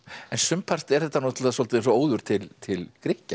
en sumpart er þetta svolítið eins og óður til til Grikkja